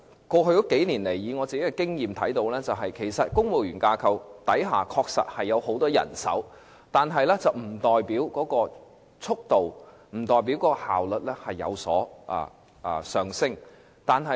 過去數年來，雖然我看到公務員架構確實有很多人手，但不代表速度和效率必定提升。